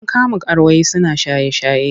An kama karuwai suna shaye-shaye.